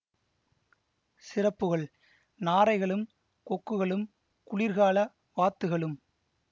சிறப்புகள் நாரைகளும் கொக்குகளும் குளிர்கால வாத்துகளும்